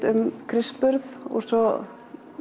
um kristsburð og svo